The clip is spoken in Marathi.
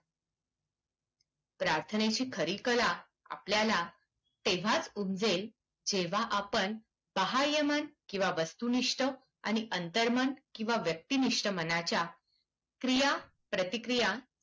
प्रार्थनेची खरी कला आपल्याला तेव्हाच उमजेल, जेव्हा आपण बाह्यमन किंवा वस्तुनिष्ठ आणि अंतर्मन किंवा व्यक्तिनिष्ठ मनाच्या क्रिया प्रतिक्रिया